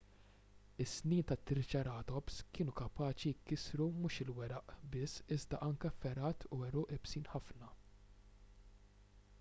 is-snien tat-triċeratops kienu kapaċi jkissru mhux il-weraq biss iżda anke fergħat u għeruq iebsin ħafna